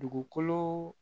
Dugukolo